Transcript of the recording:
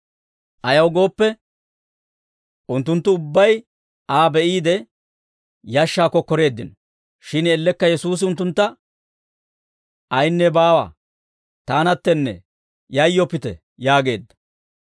Ayaw gooppe, unttunttu ubbay Aa be'iide, yashshaa kokkoreeddino; shin ellekka Yesuusi unttuntta, «Ayinne baawa; taanattennee yayyoppite» yaageedda.